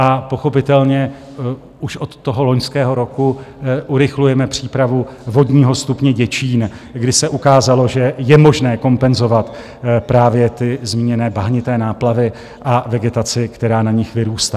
A pochopitelně už od toho loňského roku urychlujeme přípravu vodního stupně Děčín, kdy se ukázalo, že je možné kompenzovat právě ty zmíněné bahnité náplavy a vegetaci, která na nich vyrůstá.